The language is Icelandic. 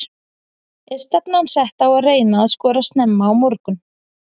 Er stefnan sett á að reyna að skora snemma á morgun?